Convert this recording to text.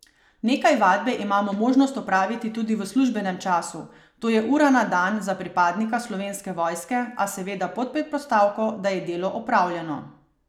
Nekaj vadbe imamo možnost opraviti tudi v službenem času, to je ura na dan za pripadnika Slovenske vojske, a seveda pod predpostavko, da je delo opravljeno.